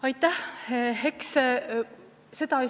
Aitäh!